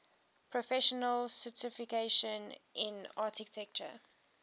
professional certification in architecture